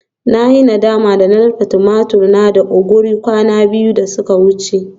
Na yi nadama na dafa tumatur na da ogiri kwana biyu da suka wuce